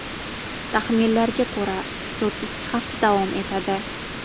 Taxminlarga ko‘ra, sud ikki hafta davom etadi.